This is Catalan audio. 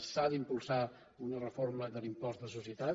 s’ha d’impulsar una reforma de l’impost de societats